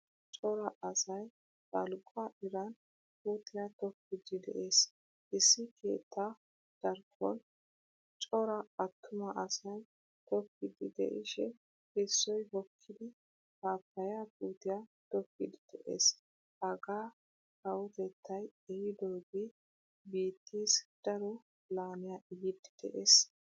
Cora asay balgguwaa iran puutiyaa tokkidi de'ees. Issi keettaa darkkon cora attuma asay tokkidi de'ishin issoy hokkidi pappaya puutiyaa tokkidi de'ees. Hagaa kawotettay ehidoge biittees daro laamiya ehidi de'ees.